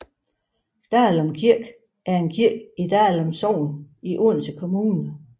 Dalum Kirke er en kirke i Dalum Sogn i Odense Kommune